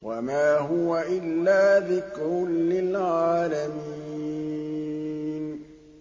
وَمَا هُوَ إِلَّا ذِكْرٌ لِّلْعَالَمِينَ